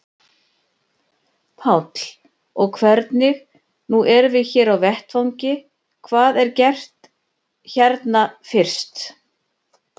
Páll: Og hvernig, nú erum við hér á vettvangi, hvað er gert hérna fyrst?